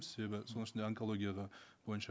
себебі соның ішінде онкология да бойынша